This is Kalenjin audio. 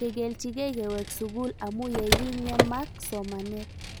Kekilchikei kewek sukul amu ye king'emak somanet